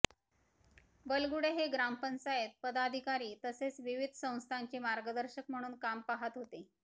बलुगडे हे ग्रामपंचायत पदाधिकारी तसेच विविध संस्थांचे मार्गदर्शक म्हणून काम पाहत होते